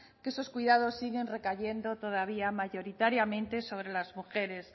que esos cuidados siguen recayendo todavía mayoritariamente sobre las mujeres